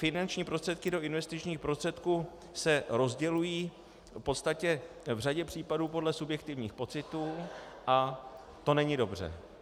Finanční prostředky do investičních prostředků se rozdělují v podstatě v řadě případů podle subjektivních pocitů a to není dobře.